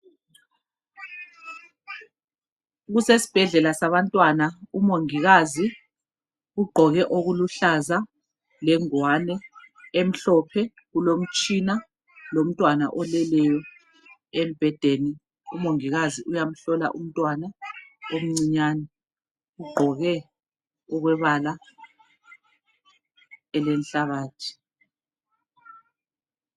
Kusesibhedlela sabantwana , umongikazi ugqoke okuluhlaza lengwani emhlophe . Kulomtshina lomntwana oleleyo embhedeni, umongikazi uyamhlola umntwana omncinyane. Ugqoke okwebala elenhlabathi.